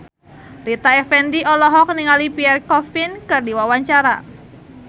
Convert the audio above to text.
Rita Effendy olohok ningali Pierre Coffin keur diwawancara